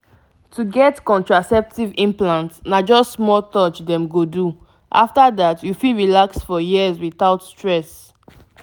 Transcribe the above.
to get contraceptive implant na just small touch dem go do — after that you fit relax for years without stress.